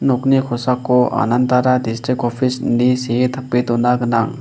nokni kosako anandara distrik opis ine see tape dona gnang.